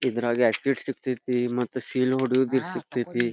ಇದ್ರಾಗ ಮತ್ ಸೀಲ್ ಹೊಡಿಯೋದು ಸಿಕ್ಕತ್ಯ್ ತಿ.